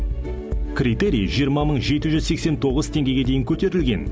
критерий жиырма мың жеті жүз сексен тоғыз теңгеге дейін көтерілген